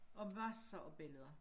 Og masser af billeder